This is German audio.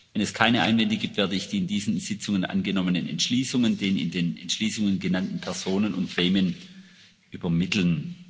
Wenn es keine Einwände gibt, werde ich die in diesen Sitzungen angenommenen Entschließungen den in den Entschließungen genannten Personen und Gremien übermitteln.